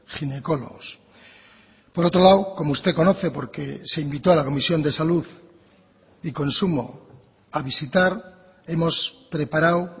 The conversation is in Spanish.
ginecólogos por otro lado como usted conoce porque se invitó a la comisión de salud y consumo a visitar hemos preparado